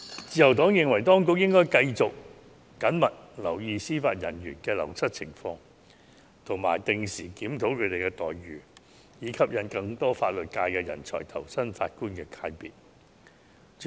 自由黨認為，當局應繼續緊密留意司法人員的流失情況及定時檢討他們的待遇，以吸引更多法律界人才投身法官界別。